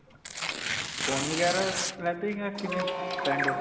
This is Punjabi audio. phone ਵਗੈਰਾ ਲੈਂਦੇ ਜਾਂ ਕਿਵੇਂ friend ਹੋ?